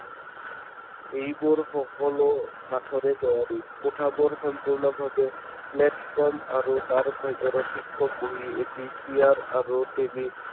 এইবোৰ সকলো কাঠৰে তৈয়াৰি কোঠাবোৰ সম্পূৰ্ণ ভাৱে platform আৰু তাৰ ভিতৰত শিক্ষক বহি এটি চি. আৰ. আৰু